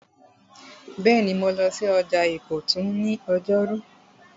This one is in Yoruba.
Bẹ́ẹ̀ni, mo lọ sí ọjà ìkọ̀tún ní ọjọ́rú